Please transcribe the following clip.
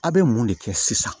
A' bɛ mun de kɛ sisan